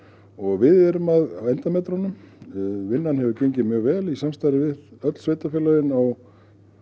og við erum á endametrunum vinnan hefur gengið mjög vel í samstarfi við öll sveitarfélögin á